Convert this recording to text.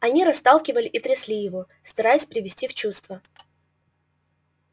они расталкивали и трясли его стараясь привести в чувство